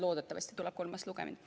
Loodetavasti tuleb kolmas lugemine.